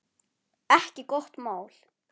Ekki gott mál.